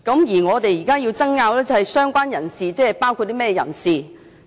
而我們現在爭拗的是，"相關人士"包括甚麼人士？